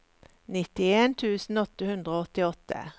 nittien tusen åtte hundre og åttiåtte